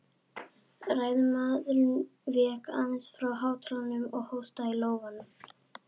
Ræðumaðurinn vék aðeins frá hátalaranum og hóstaði í lófann.